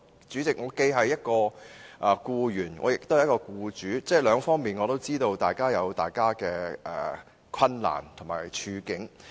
主席，我既是一名僱員，也是一名僱主，所以知道兩方面也各有自己的困難和處境。